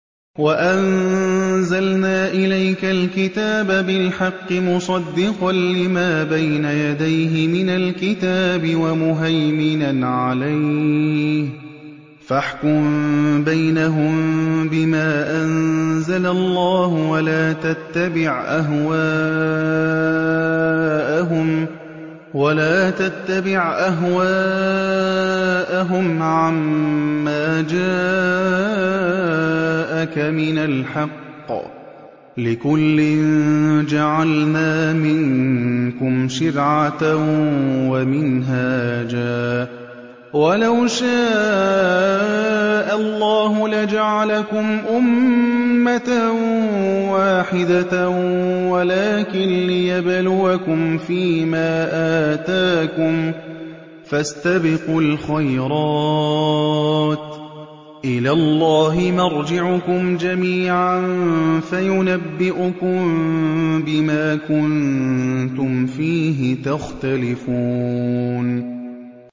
وَأَنزَلْنَا إِلَيْكَ الْكِتَابَ بِالْحَقِّ مُصَدِّقًا لِّمَا بَيْنَ يَدَيْهِ مِنَ الْكِتَابِ وَمُهَيْمِنًا عَلَيْهِ ۖ فَاحْكُم بَيْنَهُم بِمَا أَنزَلَ اللَّهُ ۖ وَلَا تَتَّبِعْ أَهْوَاءَهُمْ عَمَّا جَاءَكَ مِنَ الْحَقِّ ۚ لِكُلٍّ جَعَلْنَا مِنكُمْ شِرْعَةً وَمِنْهَاجًا ۚ وَلَوْ شَاءَ اللَّهُ لَجَعَلَكُمْ أُمَّةً وَاحِدَةً وَلَٰكِن لِّيَبْلُوَكُمْ فِي مَا آتَاكُمْ ۖ فَاسْتَبِقُوا الْخَيْرَاتِ ۚ إِلَى اللَّهِ مَرْجِعُكُمْ جَمِيعًا فَيُنَبِّئُكُم بِمَا كُنتُمْ فِيهِ تَخْتَلِفُونَ